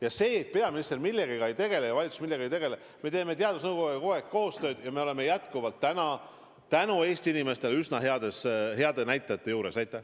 Ja süüdistus, et peaminister millegagi ei tegele ja valitsus millegagi ei tegele – me teeme teadusnõukojaga kogu aeg koostööd ja meil on jätkuvalt tänu Eesti inimestele üsna head näitajad.